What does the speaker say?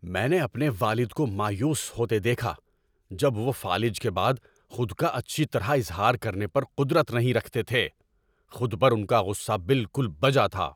میں نے اپنے والد کو مایوس ہوتے دیکھا جب وہ فالج کے بعد خود کا اچھی طرح اظہار کرنے پر قدرت نہیں رکھتے تھے۔ خود پر ان کا غصہ بالکل بجا تھا۔